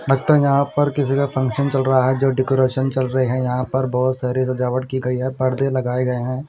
लगता है यहाँ पर किसी का फंक्शन चल रहा है जो डेकोरेशन चल रहे हैं यहाँ पर बहोत सारे सजावट कि गई है पर्दे लगाए गए हैं।